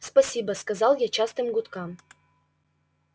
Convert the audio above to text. спасибо сказал я частым гудкам